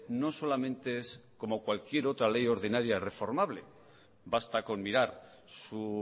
no solamente es como cualquier otra ley ordinaria reformable basta con mirar su